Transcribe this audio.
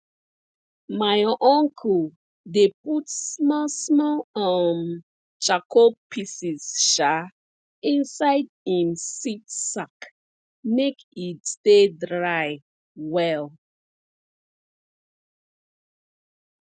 my uncle dey put small small um charcoal pieces um inside him seed sack make e stay dry well